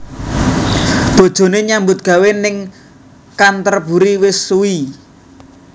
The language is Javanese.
Bojone nyambut gawe ning Canterburry wis suwi